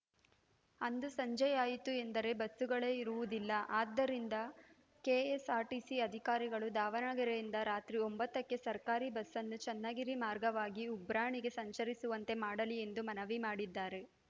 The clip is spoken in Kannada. ಅಂದು ಸಂಜೆಯಾಯಿತು ಎಂದರೆ ಬಸ್ಸುಗಳೇ ಇರುವುದಿಲ್ಲ ಅದ್ದರಿಂದ ಕೆಎಸ್‌ಆರ್‌ಟಿಸಿ ಅಧಿಕಾರಿಗಳು ದಾವಣಗೆರೆಯಿಂದ ರಾತ್ರಿ ಒಂಬತ್ತಕ್ಕೆ ಸರ್ಕಾರಿ ಬಸ್‌ನ್ನು ಚನ್ನಗಿರಿ ಮಾರ್ಗವಾಗಿ ಉಬ್ರಾಣಿಗೆ ಸಂಚರಿಸುವಂತೆ ಮಾಡಲಿ ಎಂದು ಮನವಿ ಮಾಡಿದ್ದಾರೆ